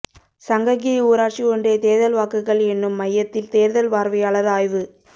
சங்ககிரி ஊராட்சி ஒன்றிய தோ்தல் வாக்குகள் எண்ணும் மையத்தில் தோ்தல் பாா்வையாளா் ஆய்வு